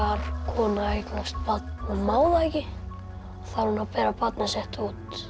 kona eignast barn og má það ekki þá á hún að bera barnið sitt út